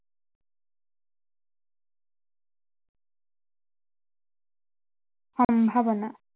সম্ভাৱনা